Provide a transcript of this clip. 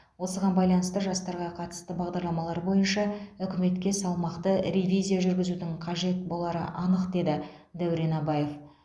осыған байланысты жастарға қатысты бағдарламалар бойынша үкіметке салмақты ревизия жүргізудің қажет болары анық деді дәурен абаев